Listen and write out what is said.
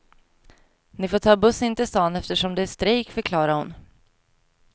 Ni får ta buss in till stan eftersom det är strejk, förklarade hon.